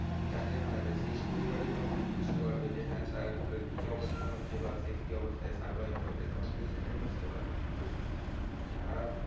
যাকে হারাবে সেই পরিবারই তখন বুঝতে পারবে যে হ্যাঁ তার আহ কি অবস্থা হচ্ছে বা সে কি অবস্থায় survive করছে তখন সে সেটাই বুঝতে পারবে কিন্তু যারা